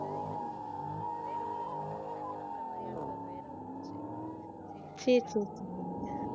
சரி சரி சரி .